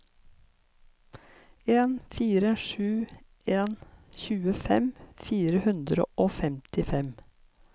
en fire sju en tjuefem fire hundre og femtifem